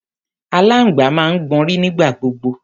Alangba máa ń gbọnrí nígbà gbogbo